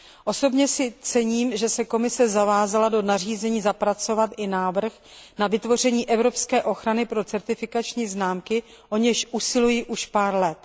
Osobně si cením, že se Komise zavázala do nařízení zapracovat i návrh na vytvoření evropské ochrany pro certifikační známky, o nějž usiluji už pár let.